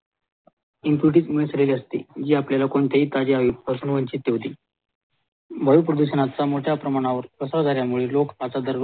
इंफ्रुटीत मिसडलेले असते जे आपल्याला ताज्या हवेत अनुवंचित ठेवते वायु प्रदूषणच्या मोठ्या प्रमाणावर प्रसारझाल्या मुळे लोक